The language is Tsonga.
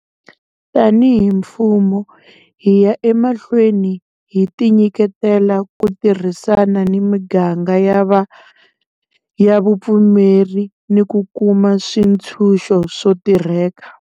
Tanihi mfumo, hi ya emahlweni hi tinyiketela ku tirhisana na miganga ya vupfumeri ni ku kuma swi tshunxo swo tirheka.